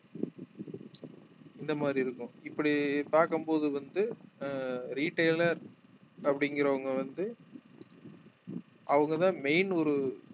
இந்த மாதிரி இருக்கும் இப்படி பார்க்கும் போது வந்து அஹ் retailer அப்படிங்கிறவங்க வந்து அவங்கதான் main ஒரு